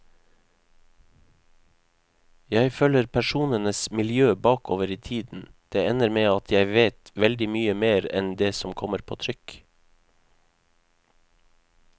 Jeg følger personenes miljø bakover i tiden, det ender med at jeg vet veldig mye mer enn det som kommer på trykk.